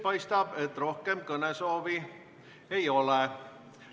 Paistab, et rohkem kõnesoovi ei ole.